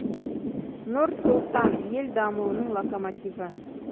нұр сұлтан ел дамуының локомотиві